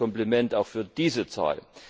Also Kompliment auch für diese Zahl!